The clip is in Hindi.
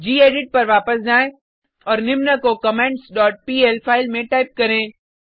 गेडिट पर वापस जाएँ और निम्न को कमेंट्स डॉट पीएल फाइल में टाइप करें